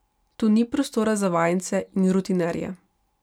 Tu ni prostora za vajence in rutinerje.